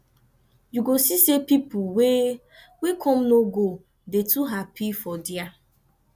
yu go see say pipo wey wey kom no go dey too hapi for dia